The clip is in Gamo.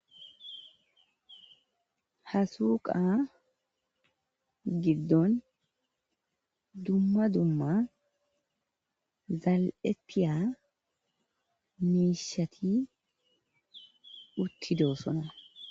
Ha suqa gidon dumma dumma zali'etiya mishat utidosona.